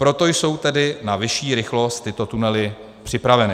Proto jsou tedy na vyšší rychlost tyto tunely připraveny.